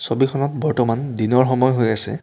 ছবিখনত বৰ্তমান দিনৰ সময় হৈ আছে।